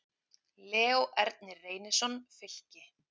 Leó Ernir Reynisson, Fylki